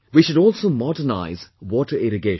We should also modernise water irrigation